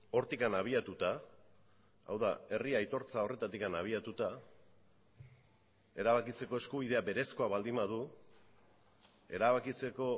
hortik abiatuta hau da herri aitortza horretatik abiatuta erabakitzeko eskubidea berezkoa baldin badu erabakitzeko